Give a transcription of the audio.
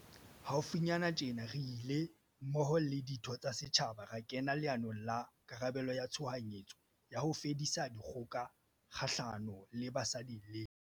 Haufinyane tjena, re ile, mmoho le ditho tsa setjhaba, ra kena leanong la karabelo ya tshohanyetso ya ho fedisa dikgoka kgahlano le basadi le bana.